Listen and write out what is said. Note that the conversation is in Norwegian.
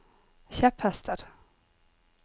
kjepphester